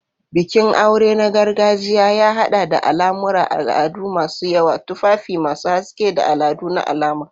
Bikin aure na gargajiya ya haɗa da al'amuran al'adu masu yawa, tufafi masu haske, da al'adu na alama.